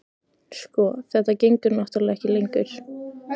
Sko. þetta gengur náttúrlega ekki lengur.